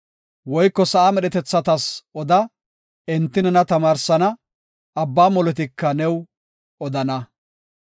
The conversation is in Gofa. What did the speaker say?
Woyko sa7a medhetethatas oda; enti nena tamaarsana; abba molotika new odana.